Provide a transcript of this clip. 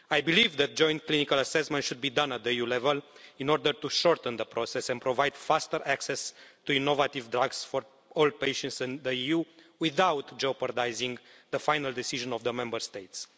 I believe that joint clinical assessment should be done at EU level in order to shorten the process and provide faster access to innovative drugs for all patients in the EU without jeopardising the final decision of the Member States.